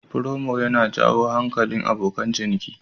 Promo yana jawo hankalin abokan ciniki.